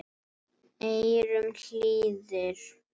eyrum hlýðir